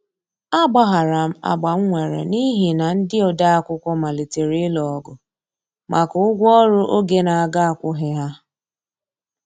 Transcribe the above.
A gbaharam agbam nwere n'ihi na ndi odeakwụkwọ malitere ilụ ogụ maka ụgwọ ọrụ oge n'aga akwoghi ha.